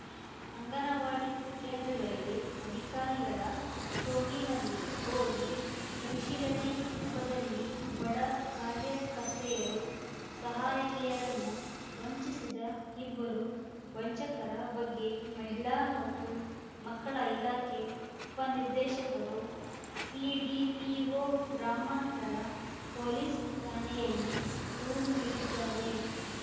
ಅಂಗನವಾಡಿ ಕೇಂದ್ರಗಳಿಗೆ ಅಧಿಕಾರಿಗಳ ಸೋಗಿನಲ್ಲಿ ಹೋಗಿ ಪರಿಶೀಲನೆ ನೆಪದಲ್ಲಿ ಬಡ ಕಾರ್ಯಕರ್ತೆಯರು ಸಹಾಯಕಿಯರನ್ನು ವಂಚಿಸಿದ ಇಬ್ಬರು ವಂಚಕರ ಬಗ್ಗೆ ಮಹಿಳಾ ಮತ್ತು ಮಕ್ಕಳ ಇಲಾಖೆ ಉಪ ನಿರ್ದೇಶಕರು ಸಿಡಿಪಿಓ ಗ್ರಾಮಾಂತರ ಪೊಲೀಸ್‌ ಠಾಣೆಯಲ್ಲಿ ದೂರು ನೀಡಿದ್ದಾರೆ